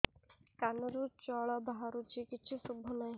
କାନରୁ ଜଳ ବାହାରୁଛି କିଛି ଶୁଭୁ ନାହିଁ